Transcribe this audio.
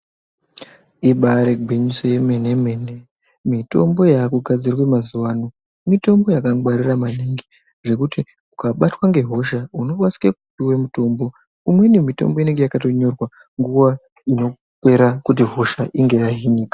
Ibari gwinyiso yemenemene mitombo yaakugadzirwe mazuwa ano mitombo yakangwarira maningi zvekuti ukabatwa ngehosha unokasike kupuwe mutombo umweni mutombo unotonga wakatonyorwa nguwa inopera kuti hosha inge yahinika.